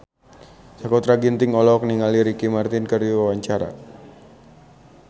Sakutra Ginting olohok ningali Ricky Martin keur diwawancara